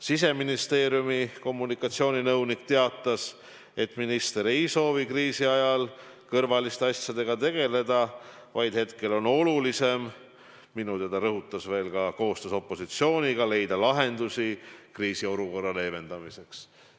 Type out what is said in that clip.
Siseministeeriumi kommunikatsiooninõunik teatas, et minister ei soovi kriisi ajal kõrvaliste asjadega tegeleda, et hetkel on olulisem – minu teada ta rõhutas seda – ka koostöös opositsiooniga leida lahendusi kriisiolukorra leevendamiseks.